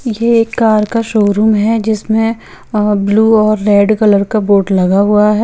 ये एक कार का शोरूम है जिसमे अ ब्लू और रेड कलर का बोर्ड लगा हुआ है ।